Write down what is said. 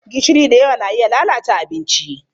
Gishiri da yawa na iya lalata abinci.